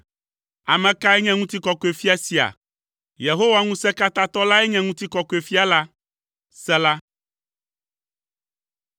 Ame kae nye Ŋutikɔkɔefia sia? Yehowa Ŋusẽkatãtɔ lae nye Ŋutikɔkɔefia la. Sela.